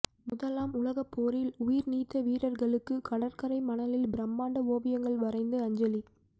முதலாம் உலகப்போரில் உயிர்நீத்த வீரர்களுக்கு கடற்கரை மணலில் பிரம்மாண்ட ஓவியங்கள் வரைந்து அஞ்சலி